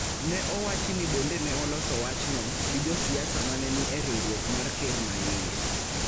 ne owachi ni bende ne oloso wachno, gi josiasa ma ne ni e riwruok mar Ker maiye